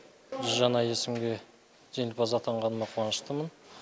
жүз жаңа есімге жеңімпаз атанғаныма қуаныштымын